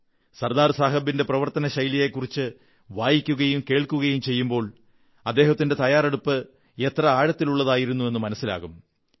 സർദാർ സാഹബിന്റെ പ്രവർത്തനശൈലിയെക്കുറിച്ച് വായിക്കുകയും കേൾക്കുകയും ചെയ്യുമ്പോൾ അദ്ദേഹത്തിന്റെ തയ്യാറെടുപ്പ് എത്ര ആഴത്തിലുള്ളതായിരുന്നു എന്നു മനസ്സിലാകും